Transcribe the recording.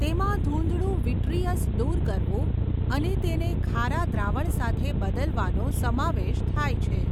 તેમાં ધૂંધળું વિટ્રીયસ દૂર કરવું અને તેને ખારા દ્રાવણ સાથે બદલવાનો સમાવેશ થાય છે.